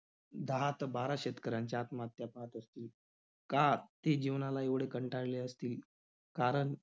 दहा त~ बारा शेतकऱ्यांच्या आत्महत्या पाहत असतो. का ते जीवनाला एवढे कंटाळले असतील? कारण